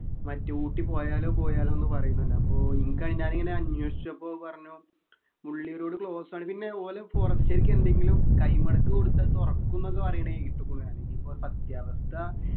മറ്റേ ഊട്ടി പോയാലോ പോയാലോന്ന് പറയുന്നുണ്ട് അപ്പൊ ഇനിക്കതിൻ്റെ അതിങ്ങനെ അന്വേഷിച്ചപ്പോ പറഞ്ഞു മുള്ളി road close ആണ് പിന്നെ ഓല് forest കാർക്ക് എന്തെങ്കിലും കൈമടക്ക് കൊടുത്താ അത് തുറക്കുന്നൊക്കെ പറയുണെ കേട്ടു ഇപ്പൊ വേണെങ്കി ഇപ്പൊ സത്യാവസ്ഥ